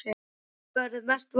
Hver verða mestu vonbrigðin?